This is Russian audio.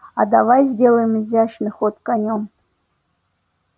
а давай сделаем изящный ход конём